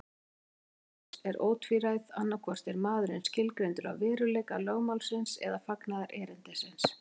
Niðurstaða Lúthers er ótvíræð, annaðhvort er maðurinn skilgreindur af veruleika lögmálsins eða fagnaðarerindisins.